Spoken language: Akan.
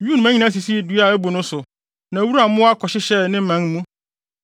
Wim nnomaa nyinaa sisii dua a abu no so, na wuram mmoa kɔhyehyɛɛ ne mman mu.